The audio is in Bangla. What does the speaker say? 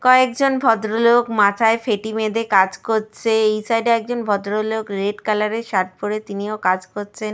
কয়েক জন ভদ্রলোক মাথায় ফেট্টি বেঁধে কাজ করছে। এই সাইড -এ একজন ভদ্র লোক রেড কালার -এর শার্ট পরে তিনিও কাজ করছেন।